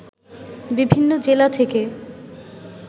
বিভিন্ন জেলা থেকে